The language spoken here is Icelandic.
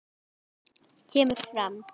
kemur fram